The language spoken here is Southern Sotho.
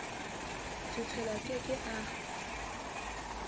setshelo a ke ke a